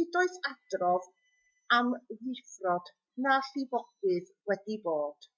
nid oes adrodd am ddifrod na llifogydd wedi bod